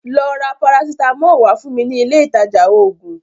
Lọ ra parasitamọli wá fún mi ní ilé ìtajà ògùn